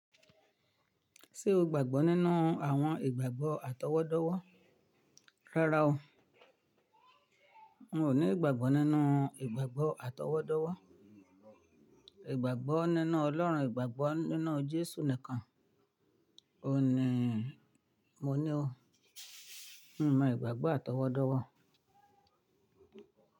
Ṣé o gbàgbọ́ nínú àwọn ìgbàgbọ́ atọwọ́dọ́wọ́? Rárá o. N ò ní ìgbàgbọ́ nínú ìgbàgbọ́ atọwọ́dọ́wọ́. Ìgbàgbọ́ nínú Ọlọ́run, ìgbàgbọ́ nínú Jésù nìkan. O ní, mo ní o. N ò mọ ìgbàgbọ́ atọwọ́dọ́wọ́.